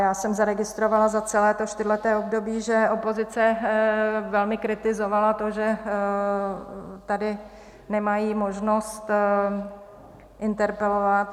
Já jsem zaregistrovala za celé to čtyřleté období, že opozice velmi kritizovala to, že tady nemají možnost interpelovat.